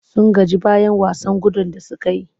Sun gaji bayan wasan gudun da suka yi.